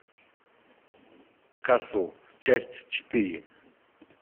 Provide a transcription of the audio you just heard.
касл часть четыре